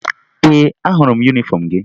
Ee, ahụrụ m yunifọmụ gị